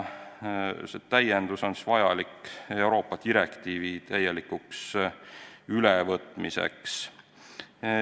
See täiendus on vajalik Euroopa Liidu direktiivi täielikuks ülevõtmiseks.